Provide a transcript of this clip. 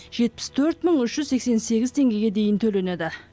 жетпіс төрт мың үш жүз сексен сегіз теңгеге дейін төленеді